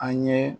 An ye